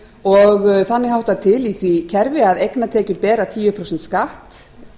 og þannig háttar til í því kerfi að eignatekjur bera tíu prósent skatt